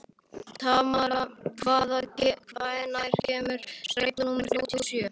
Tamara, hvenær kemur strætó númer þrjátíu og sjö?